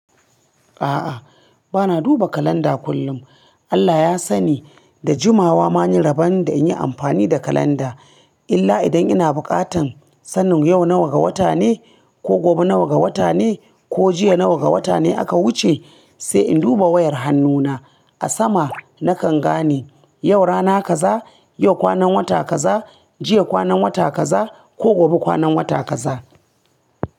A'a bana duba kalanda kullum. Allah ya sani da jimawa mun yi rabon da in yi amfani da kalanda. Illa idan ina buƙatan sanin yau nawa ga wata ne ko gobe nawa ga wata ne ko jiya nawa ga wata ne aka wuce, sai in duba wayar hannuna. A sama nakan gane yau rana kaza, yau kwanan wata kaza, jiya kwanan wata kaza ko gobe kwanan wata kaza.